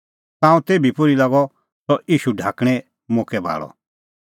ताऊं तेभी पोर्ही लागअ सह ईशू ढाकणें मोक्कै भाल़अ